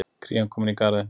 Krían komin í Garðinn